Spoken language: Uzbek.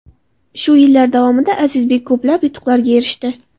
Shu yillar davomida Azizbek ko‘plab yutuqlarga erishdi.